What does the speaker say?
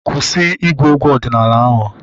Kwụsị ịgụ egwu ọdịnala ahu!